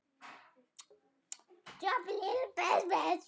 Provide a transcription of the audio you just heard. Henni var allri lokið.